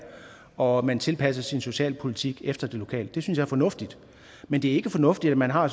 og man tilpasser sin socialpolitik efter det lokalt det synes jeg er fornuftigt men det er ikke fornuftigt at man har